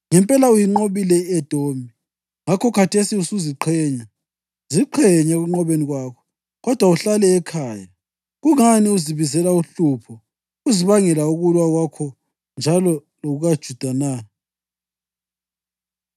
Ngempela uyinqobile i-Edomi ngakho khathesi usuziqhenya. Ziqhenye ekunqobeni kwakho, kodwa uhlale ekhaya! Kungani uzibizela uhlupho uzibangela ukulwa kwakho njalo lokukaJuda na?”